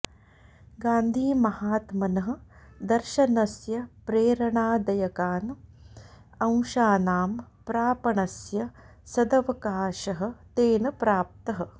गान्धिमहात्मनः दर्शनस्य प्रेरणादयकान् अंशानां प्रापणस्य सदवकाशः तेन प्राप्तः